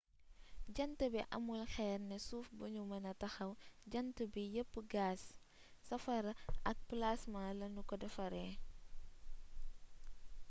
jant bi amul xeer ne suuf bu nu mëna taxaw jant bi yepp gaas safara ak plaasma lanu ko defaree